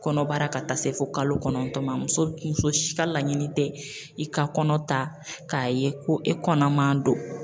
Kɔnɔbara ka taa se fo kalo kɔnɔntɔn ma muso si ka laɲini tɛ i ka kɔnɔ ta k'a ye ko e kɔnɔma don